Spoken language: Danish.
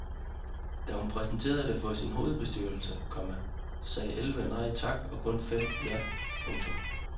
Da hun præsenterede det for sin hovedbestyrelse, komma sagde elleve nej tak og kun fem ja. punktum